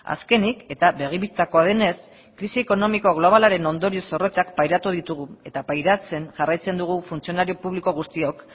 azkenik eta begi bistakoa denez krisi ekonomiko globalaren ondorio zorrotzak pairatu ditugu eta pairatzen jarraitzen dugu funtzionario publiko guztiok